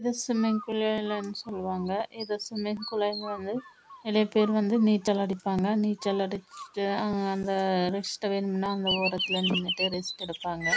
இது swimming pool லே நீச்சல் அடிப்பாங்க நீச்சல் அடிச்சிட்டு